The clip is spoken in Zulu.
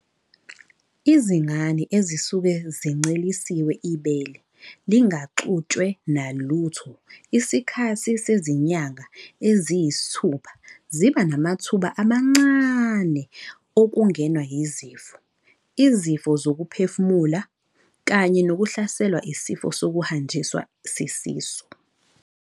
Izingane ezisuke zincelisiwe ibele lingaxutshwe nalutho isikhathi sezinyanga eziyisithupha ziba namathuba amancane okungenwa yizifo, izifo zokuphefumula, kanye nokuhlaselwa isifo sokuhanjiswa sisisu.